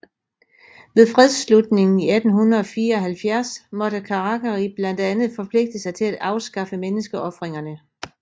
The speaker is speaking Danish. Ved fredsslutningen 1874 måtte Karakari blandt andet forpligte sig til at afskaffe menneskeofringerne